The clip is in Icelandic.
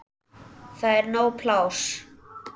Það er nóg pláss.